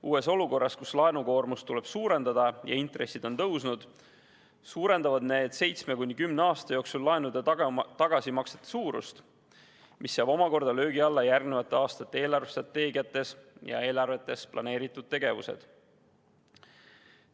Uues olukorras, kus laenukoormust tuleb suurendada ja intressid on tõusnud, suurendavad need seitsme kuni kümne aasta jooksul laenude tagasimaksete suurust, mis seab omakorda löögi alla järgnevate aastate eelarvestrateegiates ja eelarvetes planeeritud tegevused.